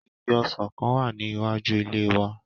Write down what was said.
Igi ọsàn kan wà ní iwájú ile wa.